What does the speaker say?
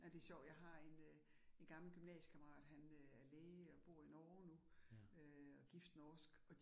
Ja det sjovt, jeg har en øh en gammel gymnasiekammerat, han øh er læge, og bor i Norge nu, øh og gift norsk